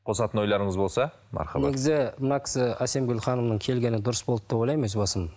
қосатын ойларыңыз болса мархабат негізі мына кісі әсемгүл ханымның келгені дұрыс болды деп ойлаймын өз басым